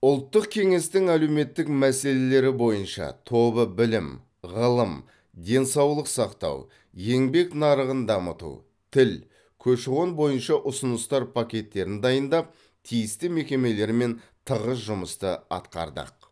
ұлттық кеңестің әлеуметтік мәселелері бойынша тобы білім ғылым денсаулық сақтау еңбек нарығын дамыту тіл көші қон бойынша ұсыныстар пакеттерін дайындап тиісті мекемелермен тығыз жұмысты атқардық